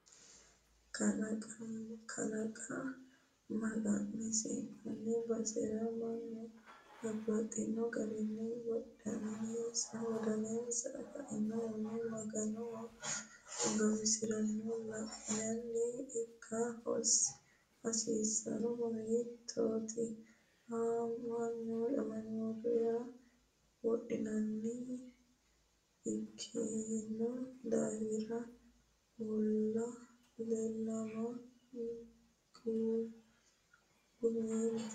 Kaaliiqa magansi'nanni basera mannu babbaxxino garinni wodaninsani kainohunni maga'nanna guwisiranna la'nanni ikka hasiisanohuno hattoti ama'note yaa wodaninni ikkino daafira mulla leellama gumiwellote.